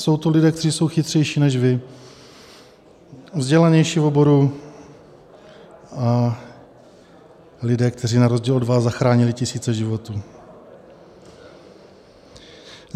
Jsou to lidé, kteří jsou chytřejší než vy, vzdělanější v oboru a lidé, kteří na rozdíl od vás zachránili tisíce životů.